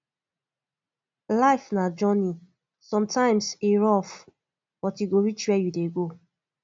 life na journey sometimes e rough but you go reach where you dey go